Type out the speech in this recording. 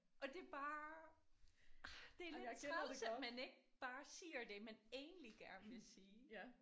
Og det er bare ah det er lidt træls at man ikke bare siger det man egentlig gerne vil sige